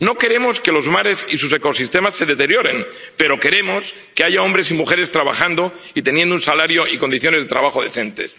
No queremos que los mares y sus ecosistemas se deterioren, pero queremos que haya hombres y mujeres trabajando y teniendo un salario y condiciones de trabajo decentes.